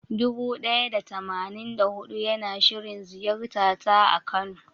Dubu ɗaya da tamanin da huɗu yana shirin ziyartata a kano.